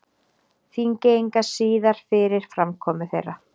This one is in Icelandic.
Þingeyinga síðar fyrir framkomu þeirra.